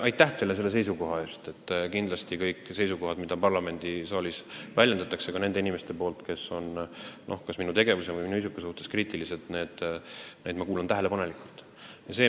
Kindlasti ma kuulan tähelepanelikult kõiki neidki seisukohti, mida parlamendi saalis väljendavad inimesed, kes minu tegevuse või minu isiku suhtes on kriitilised.